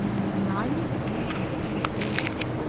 и на него говорю а про кого-то